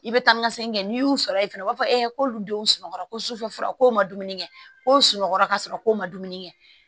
I bɛ taa ni ka segin kɛ n'i y'u sɔrɔ yen fɛnɛ u b'a fɔ k'olu denw sunɔgɔ ko sufɛ fura kow ma dumuni kɛ kowɔgɔ ka sɔrɔ k'u ma dumuni kɛ